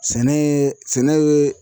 Sɛnɛ ye